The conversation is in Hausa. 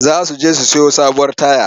Za su je su sayo sabuwar taya.